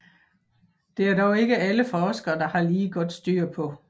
Det er dog ikke alle forskere der har lige godt styr på